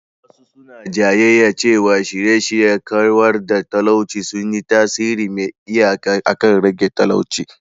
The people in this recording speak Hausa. Wasu suna jayayya cewa shirye-shiryen kawar da talauci sun yi tasiri mai iyaka akan rage talauci.